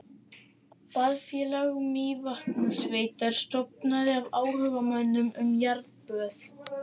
Baðfélag Mývatnssveitar stofnað af áhugamönnum um jarðböð.